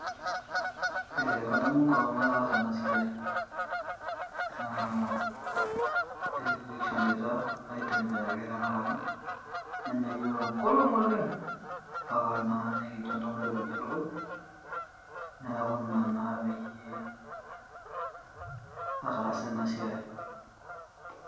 Ee kadamu enkolong nataasa ena siai naa ekishoita aitembea ake nenya yiook enkolong oleng mpaka naa nikijo ntoo mairopijie ilukuny . niaku Ina naa peyie ataasa ena siai.